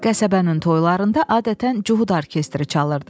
Qəsəbənin toyalarında adətən Cuhud orkestri çalırdı.